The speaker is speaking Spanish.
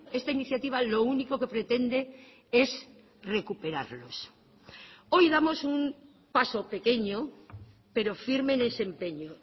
esta iniciativa lo único que pretende es recuperarlos hoy damos un paso pequeño pero firme en ese empeño